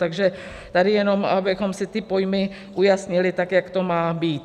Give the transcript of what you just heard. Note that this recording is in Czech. Takže tady jenom abychom si ty pojmy ujasnili, tak jak to má být.